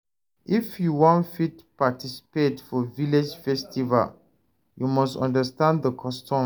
If you wan fit participate for village festival, you must understand the custom.